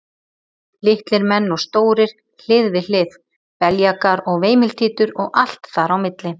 Litlir menn og stórir hlið við hlið, beljakar og veimiltítur og allt þar á milli.